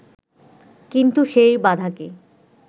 কিন্তু সেই বাধাকে